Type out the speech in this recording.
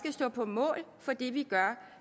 stå på mål for det vi gør